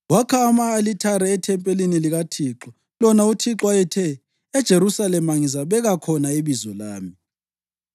Wakha ama-alithare ethempelini likaThixo, lona uThixo ayethe, “EJerusalema ngizabeka khona iBizo lami.”